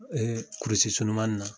kurusi surumani na